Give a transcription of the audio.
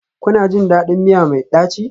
Kuna jin daɗin miya mai ɗaci?